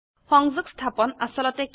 সংযোগ স্থাপন আসলতে কি